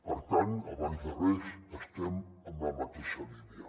per tant abans de res estem en la mateixa línia